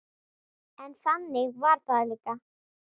En þannig var það líka.